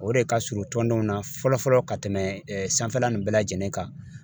O de ka surun tɔndenw na fɔlɔ fɔlɔ ka tɛmɛ sanfɛla nin bɛɛ lajɛlen kan .